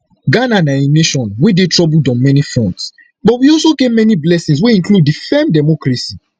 ghana na a nation wey dey troubled on many fronts but we also get many blessings wey include di firm democracy